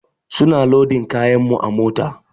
Su na lodin kayan mu a mota.